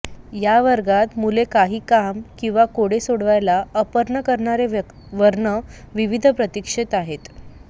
या वर्गात मुले काही काम किंवा कोडे सोडवायला अर्पण करणारे वर्ण विविध प्रतीक्षेत आहेत